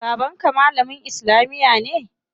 Baban ka malamin islamiya ne?